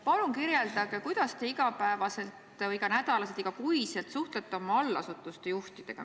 Palun kirjeldage, kuidas te iga päev, iga nädal või ka iga kuu suhtlete oma allasutuste juhtidega.